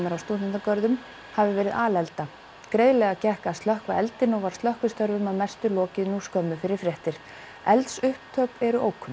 er á stúdentagörðum hafi verið greiðlega gekk að slökkva eldinn og var slökkvistörfum að mestu lokið nú skömmu fyrir fréttir eldsupptök eru ókunn